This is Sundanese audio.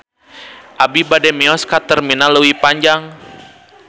Abi bade mios ka Terminal Leuwi Panjang